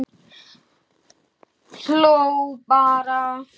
Hló bara.